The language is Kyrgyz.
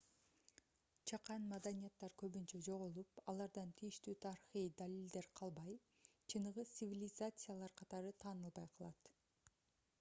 чакан маданияттар көбүнчө жоголуп алардан тийиштүү тарыхый далилдер калбай чыныгы цивилизациялар катары таанылбай калат